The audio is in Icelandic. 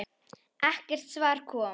Ekkert svar kom.